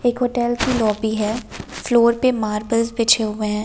एक होटल की लॉबी है फ्लोर पे मार्बल बिछे हुए हैं।